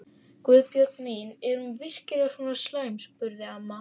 Guðbjörg mín, er hún virkilega svona slæm? spurði amma.